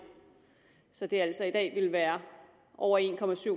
så det altså i dag ville være over en